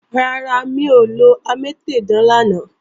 Rárá, mi ò lọ amétèdán lánàá